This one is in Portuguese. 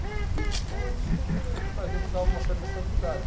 Então, isso para a gente dava uma certa estabilidade.